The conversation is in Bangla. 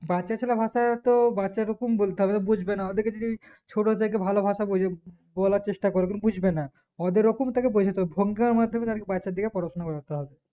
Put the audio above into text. বাচ্চা ছেলের ভাষাতো বাচ্চারকম বলতে হবে বুজবে না ওদেরকে যদি ছোটথেকে ভালো ভাষা বোঝা বলার চেষ্টা করবে বুজবে না ওদের ওই রকম থেকে বোঝাতে ভঙার মাধ্যমে তাদের বাচ্চা দের পড়াশোনা করতে হবে